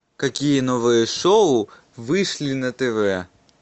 какие новые шоу вышли на тв